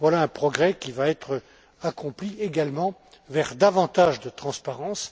Voilà un progrès qui va être accompli également vers davantage de transparence